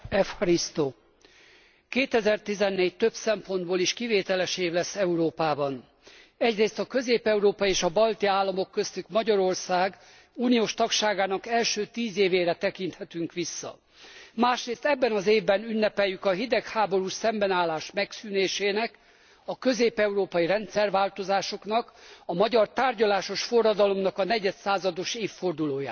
2014 több szempontból is kivételes év lesz Európában. Egyrészt a közép európai és balti államok köztük Magyarország uniós tagságának első tíz évére tekinthetünk vissza, másrészt ebben az évben ünnepeljük a hidegháborús szembenállás megszűnésének, a közép európai rendszerváltozásoknak, a magyar tárgyalásos forradalomnak a negyedszázados évfordulóját.